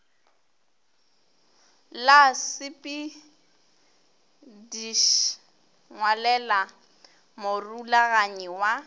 la sepedš ngwalela morulaganyi wa